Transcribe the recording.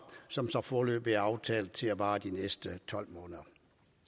som foreløbig er aftalt at vare de næste tolv måneder